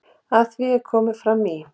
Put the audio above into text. Að því er fram kom í